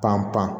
Pan pan